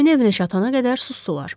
Həkimin evinə çatanadək susdular.